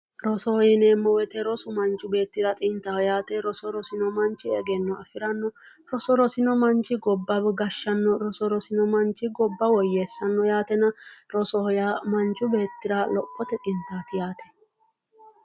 Rosoho yineemo woyite rosu manichi xinittaho yaate roso rosinoanichi egenno afiranno roso rosi o Manichi gobba gashano roso rosino manichi gobba woueesanno yaatena Rosoho yaa manichi beetira heeshote xinitaati yaate